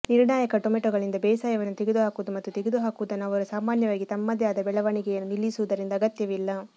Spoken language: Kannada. ನಿರ್ಣಾಯಕ ಟೊಮೆಟೊಗಳಿಂದ ಬೇಸಾಯವನ್ನು ತೆಗೆದುಹಾಕುವುದು ಮತ್ತು ತೆಗೆದುಹಾಕುವುದನ್ನು ಅವರು ಸಾಮಾನ್ಯವಾಗಿ ತಮ್ಮದೇ ಆದ ಬೆಳವಣಿಗೆಯನ್ನು ನಿಲ್ಲಿಸುವುದರಿಂದ ಅಗತ್ಯವಿಲ್ಲ